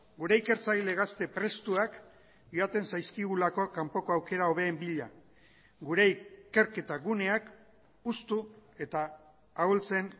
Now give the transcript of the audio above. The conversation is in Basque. gure ikertzaile gazte prestuak joaten zaizkigulako kanpoko aukera hobeen bila gure ikerketa guneak hustu eta ahultzen